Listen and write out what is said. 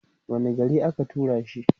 wani garin aka turashi